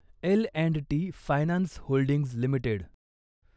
L and T finance holdings limited